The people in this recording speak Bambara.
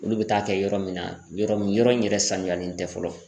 Olu bɛ taa kɛ yɔrɔ min na yɔrɔ min yɔrɔ in yɛrɛ sanuyalen tɛ fɔlɔ